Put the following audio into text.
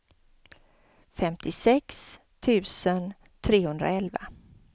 femtiosex tusen trehundraelva